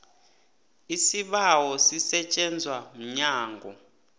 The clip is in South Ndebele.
isibawo sisetjenzwa mnyango